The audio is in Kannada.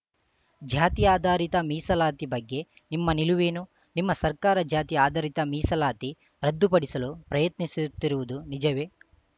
ಜಾತಿ ಆಧಾರಿತ ಮೀಸಲಾತಿ ಬಗ್ಗೆ ನಿಮ್ಮ ನಿಲುವೇನು ನಿಮ್ಮ ಸರ್ಕಾರ ಜಾತಿ ಆಧಾರಿತ ಮೀಸಲಾತಿ ರದ್ದುಪಡಿಸಲು ಪ್ರಯತ್ನಿಸುತ್ತಿರುವುದು ನಿಜವೇ